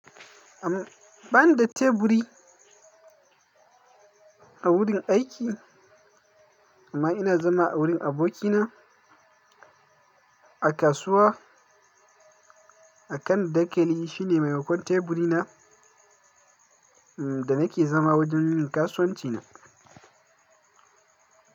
Am, bani da teburi a wurin aiki amma ina zama a wurin abokina a kasuwa. A kan dakali shine maimakon teburi na, da nake zama wajen yin kasuwanci na.